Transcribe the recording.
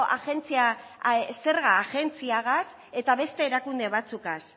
zerga agentziagaz eta beste erakunde batzuegaz